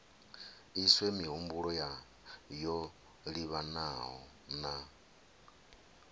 iswe mihumbulo yo livhanaho na